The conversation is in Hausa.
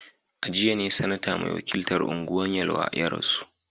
A jiya ne Sanata mai wakiltar Anguwan Yelwa ya rasu